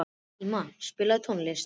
Íma, spilaðu tónlist.